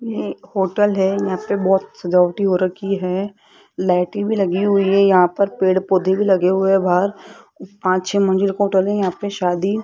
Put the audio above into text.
ये एक होटल है यहां पे बहुत सजावटी हो रखी है लाइटें भी लगी हुई है यहां पर पेड़ पौधे भी लगे हुए हैं बाहर पांच छह मंजिल होटल है यहां पे शादी --